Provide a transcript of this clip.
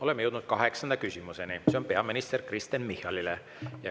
Oleme jõudnud kaheksanda küsimuseni, mis on peaminister Kristen Michalile.